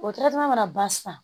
O mana ban sisan